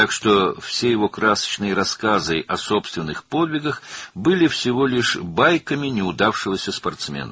Beləliklə, onun öz qəhrəmanlıqları haqqında bütün rəngarəng hekayələri uğursuz bir idmançının sadəcə nağılları idi.